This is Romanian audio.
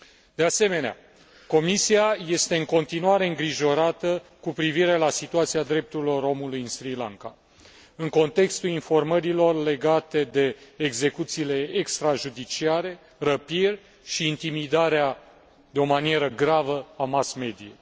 De asemenea, Comisia este în continuare îngrijorată cu privire la situația drepturilor omului în Sri Lanka în contextul informațiilor legate de execuțiile extrajudiciare, răpiri și intimidarea de o manieră gravă a mass mediei.